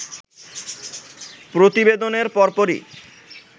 প্রতিবেদনের পরপরই